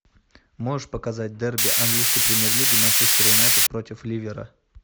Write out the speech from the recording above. можешь показать дерби английской премьер лиги манчестер юнайтед против ливера